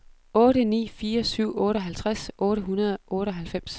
otte ni fire syv otteoghalvtreds otte hundrede og otteoghalvfems